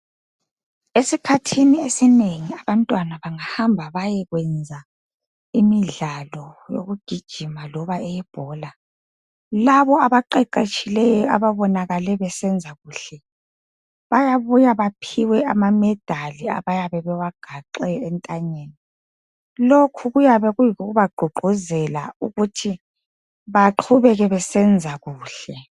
Esikhathini esinengi abantwana bangahamba bayekwenza imidlalo yokugijima loba eyebhola abaqeqetshileyo ababonakale besenzakuhle bayabuya baphiwe amamedali abayabe bewagaxe entanyeni lokhu kuyabe kuyikubaququzela ukuthi baqhubeke besenza kuhle